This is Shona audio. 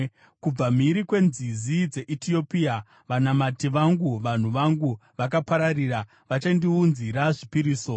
Kubva mhiri kwenzizi dzeEtiopia vanamati vangu, vanhu vangu vakapararira, vachandiunzira zvipiriso.